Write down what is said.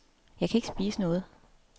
Jeg kan ikke spise noget.